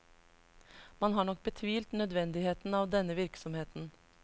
Man har nok betvilt nødvendigheten av denne virksomheten.